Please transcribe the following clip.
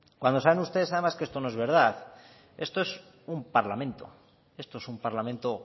cuando saben ustedes además que esto no es verdad esto es un parlamento esto es un parlamento